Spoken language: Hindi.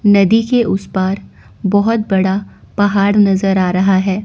नदी के उस पार बोहोत बड़ा पहाड़ नजर आ रहा है।